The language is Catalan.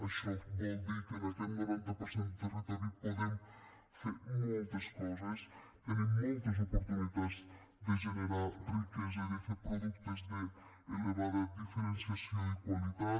això vol dir que en aquest noranta per cent de territori podem fer moltes coses tenim moltes oportunitats de generar riquesa de fer productes d’elevada diferenciació i qualitat